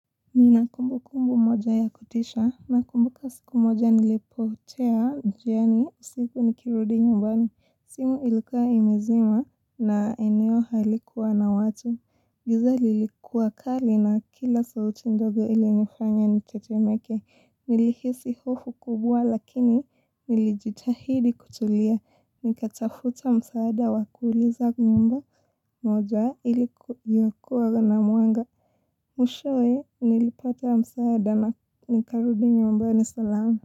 Nina kumbukumbu moja ya kutisha na kumbuka siku moja nilipotea njiani usiku nikirudi nyumbani. Simu ilikua imezima na eneo halikuwa na watu. Giza lilikuwa kali na kila sauti ndogo ilinifanya nitetemeke. Nilihisi hofu kubwa lakini nilijitahidi kutulia. Nikatafuta msaada wa kuuliza nyumba moja iliyokuwa na mwanga. Mwishowe nilipata msaada na nikarudi nyumbani salama.